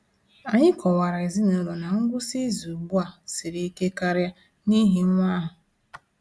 Anyị kọwaara ezinụlọ na ngwụsị izu ugbu a siri ike karịa n’ihi nwa ahụ.